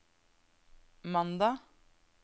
mandag